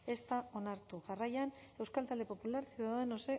ez da onartu jarraian euskal talde popularra ciudadanos